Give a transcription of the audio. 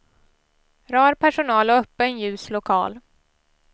Rar personal och öppen, ljus lokal.